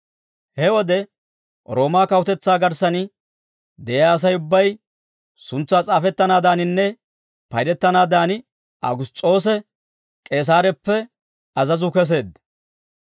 He wode Roomaa kawutetsaa garssan de'iyaa Asay ubbay suntsaa s'aafettanaadaninne paydettanaadan Awugiss's'oose K'eesareppe azazuu keseedda.